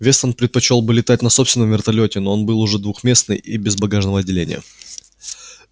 вестон предпочёл бы летать на собственном вертолёте но он был двухместный и без багажного отделения